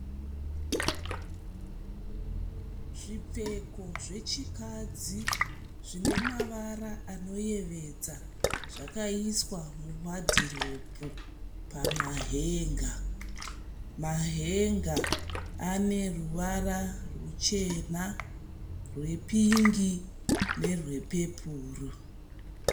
Zvipfeko zvechikadzi zvine mavara anoyevedza zvakaiswa muwadiropu pamahenga. Mahenga ane ruvara ruchena rwepingi nerwepepuru.